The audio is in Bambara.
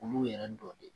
Olu yɛrɛ dɔnni